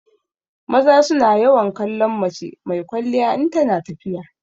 Maza su na yawan kallon mace mai kwalliya in tana tafiya.